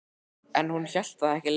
En hún hélt það ekki lengur.